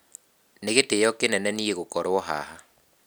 Nĩ gĩtĩo kĩnene nie gũkorũo haha.